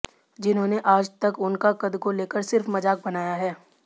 जिन्होंने आज तक उनका कद को लेकर सिर्फ मजाक बनाया है